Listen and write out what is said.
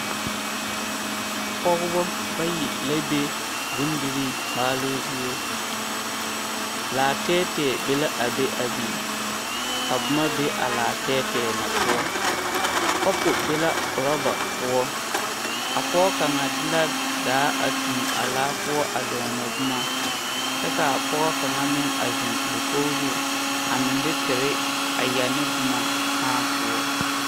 Dɔbɔ bayi ane pɔɔ bonye dɔbɔ bayi ane pɔɔ bayi la zeŋ kaa dɔɔ kaŋa eŋ nimikyaane kyɛ su kparoŋ zeɛ a seɛ kuripelaa a eŋ nɔɔte sɔglɔ kaa pɔge kaŋa meŋ su kootu sɔglaa kyɛ ka a dɔɔ kaŋa zeŋ ba santa poɔ.